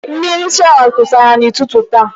Mmiri shawa kwụsịrị n'ụtụtụ taa.